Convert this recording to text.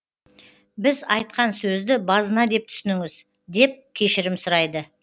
біз айтқан сөзді базына деп түсініңіз деп кешірім сұрайды